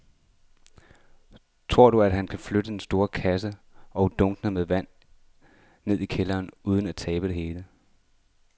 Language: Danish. Tror du, at han kan flytte den store kasse og dunkene med vand ned i kælderen uden at tabe det hele?